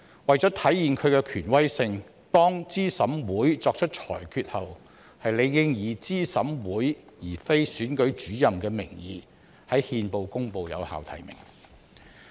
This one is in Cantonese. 為體現其權威性，當資審會作出裁決後，理應以資審會而非選舉主任的名義在憲報公布有效提名。